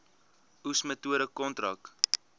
oes metode kontrak